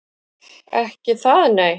Ekki það, nei?